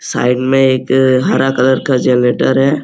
Side में एक हरा कलर का जनरेटर है।